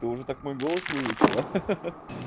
ты уже так мой голос выучила